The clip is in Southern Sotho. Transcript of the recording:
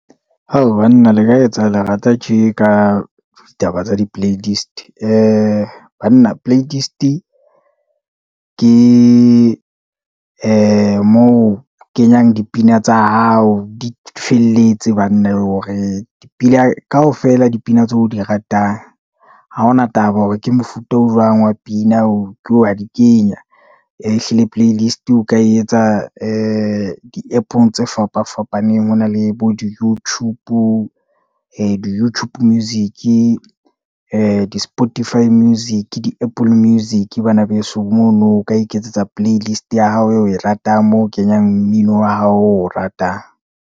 Ao banna le ka etsa lerata tjhe ka ditaba tsa di-playlist, ee, banna playlist ke ee moo o kenyang dipina tsa hao di felletse banna, hore dipina kaofela dipina tseo di ratang. Ha hona taba hore ke mofuta o jwang wa pina oo, o wa di kenya, ehlile playlist o ka etsa ee di app-ong tse fapa fapaneng, ho na le bo di-youtube, ee di-youtube music, ee, di-spotify music, di-apple music bana beso mono, o ka iketsetsa playlist ya hao e o e ratang, mo kenyang mmino wa hao o ratang.